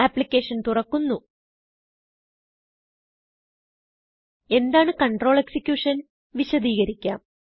application തുറക്കുന്നു എന്താണ് control executionവിശദികരിക്കാം